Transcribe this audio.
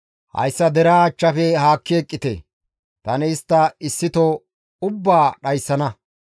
«Hayssa deraa achchafe haakki eqqite; tani istta issito ubbaa dhayssana.»